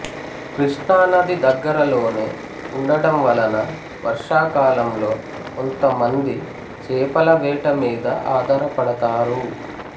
కృష్ణానది దగ్గరలోనే ఉండటం వలన వర్షాకాలంలో కొంత మంది చేపల వేట మీద ఆధారపడతారు